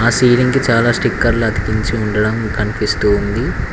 Ceiling కి చాలా స్టిక్కర్లు అతికించి ఉండటం కనిపిస్తూ ఉంది.